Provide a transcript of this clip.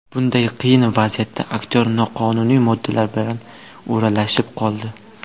Bunday qiyin vaziyatda aktyor noqonuniy moddalar bilan o‘ralashib qoldi.